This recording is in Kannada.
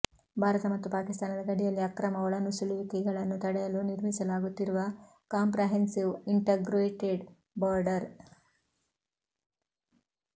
ಭಾರತ ಮತ್ತು ಪಾಕಿಸ್ಥಾನದ ಗಡಿಯಲ್ಲಿ ಅಕ್ರಮ ಒಳನುಸುಳುವಿಕೆಗಳನ್ನು ತಡೆಯಲು ನಿರ್ಮಿಸಲಾಗುತ್ತಿರುವ ಕಾಂಪ್ರಹೆನ್ಸಿವ್ ಇಂಟಗ್ರೇಟೆಡ್ ಬಾರ್ಡರ್